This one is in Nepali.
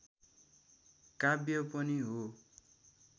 काव्य पनि हो